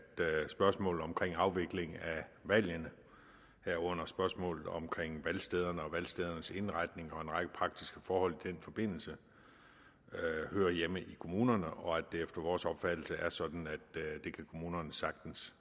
spørgsmålet om afvikling af valgene herunder spørgsmålet om valgstederne og valgstedernes indretning og en række praktiske forhold i den forbindelse hører hjemme i kommunerne og at det efter vores opfattelse er sådan at kommunerne sagtens